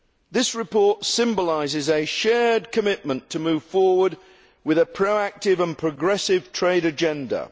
This report symbolises a shared commitment to move forward with a proactive and progressive trade agenda.